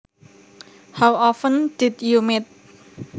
How often did you meet